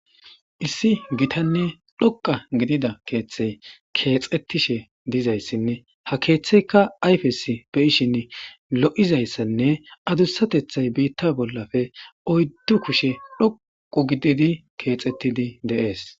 issi gitanne dhoqa gidida keeththey keexettishe dizayssinne ha keeththeyka ayfes beyishin lo'izayssanne adussatethay biitta bollafe oyddu kushe dhoqo gididi keexettidi dees.